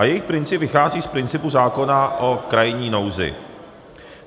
A jejich princip vychází z principu zákona o krajní nouzi.